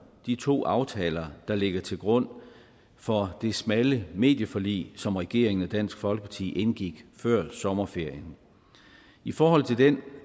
de to aftaler der ligger til grund for det smalle medieforlig som regeringen og dansk folkeparti indgik før sommerferien i forhold til den